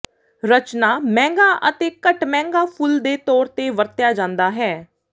ਰਚਨਾ ਮਹਿੰਗਾ ਅਤੇ ਘੱਟ ਮਹਿੰਗਾ ਫੁੱਲ ਦੇ ਤੌਰ ਤੇ ਵਰਤਿਆ ਜਾਦਾ ਹੈ